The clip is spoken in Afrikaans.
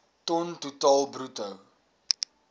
ton totaal bruto